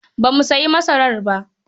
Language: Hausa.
Ba mu sayi masarar ba.